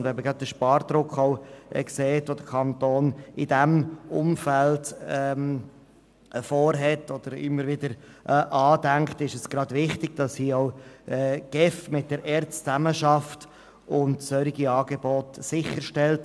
Gerade wenn man an den Spardruck denkt, der in diesem Umfeld im Kanton herrscht, ist es wichtig, dass die GEF hier mit der ERZ zusammenarbeitet und solche Angebote sicherstellt.